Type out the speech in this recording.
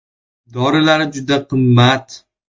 “Dorilari juda qimmat.